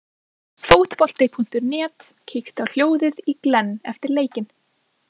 Fótbolti.net kíkti á hljóðið í Glenn eftir leikinn.